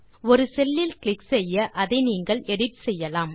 ஒரு செல் லில் கிளிக் செய்ய அதை நீங்கள் எடிட் செய்யலாம்